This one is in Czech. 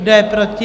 Kdo je proti?